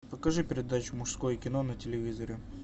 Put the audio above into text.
покажи передачу мужское кино на телевизоре